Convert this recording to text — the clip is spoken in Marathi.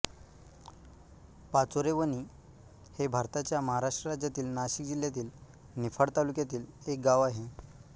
पाचोरेवणी हे भारताच्या महाराष्ट्र राज्यातील नाशिक जिल्ह्यातील निफाड तालुक्यातील एक गाव आहे